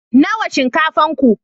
Nawa shinkafan ku?